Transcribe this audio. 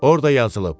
Orda yazılıb: